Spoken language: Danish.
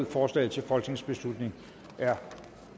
forslaget til folketingsbeslutning er